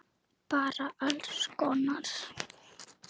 Bara alls konar.